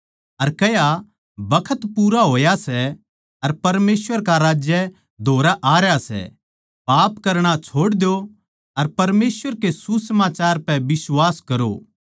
अर कह्या बखत पूरा होया सै अर परमेसवर का राज्य धोरै आरया सै पाप करणा छोड़ द्यो अर परमेसवर के सुसमाचार पै बिश्वास करो